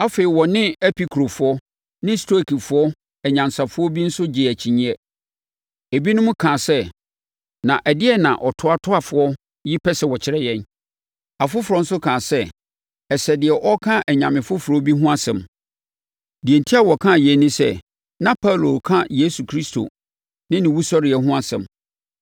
Afei, ɔne Epikurofoɔ ne Stoikfoɔ anyansafoɔ bi nso gyee akyinnyeɛ. Ebinom kaa sɛ, “na ɛdeɛn na ɔtoatoafoɔ yi pɛ sɛ ɔkyerɛ yi?” Afoforɔ nso kaa sɛ, “Ɛsɛ deɛ ɔreka anyame afoforɔ bi ho asɛm.” Deɛ enti a wɔkaa yei ne sɛ, na Paulo reka Yesu Kristo ne ne wusɔreɛ ho asɛm.